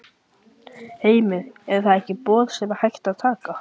Heimir: Er það ekki boð sem hægt er að taka?